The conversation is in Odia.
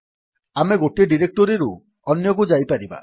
ଆମେ ଗୋଟିଏ ଡିରେକ୍ଟୋରୀରୁ ଅନ୍ୟକୁ ଯାଇପାରିବା